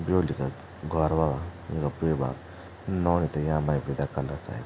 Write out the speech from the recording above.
ब्योली का घौर वाला युंका बुए बाप नौनी थे यामा ही विदा कला सायद से ।